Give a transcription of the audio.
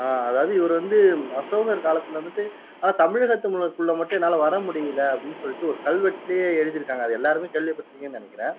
ஆஹ் அதாவது இவரு வந்து அசோகர் காலத்துல வந்துட்டு தமிழகத்து முல்ல குள்ள மட்டும் என்னால வர முடியல அப்படின்னு சொல்லிட்டு ஒரு கல்வெட்டுலயே எழுதி இருக்காங்க அதை எல்லாருமே கேள்விப்பட்டு இருப்பீங்கன்னு நினைக்குறேன்